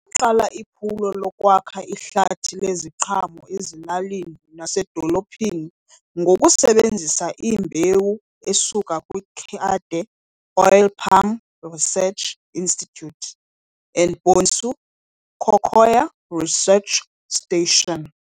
Waqala iphulo lokwakha ihlathi leziqhamo ezilalini nasedolophini ngokusebenzisa iimbewu esuka kwiKade Oil Palm Research Institute and Bonsu Cocoa Research Station.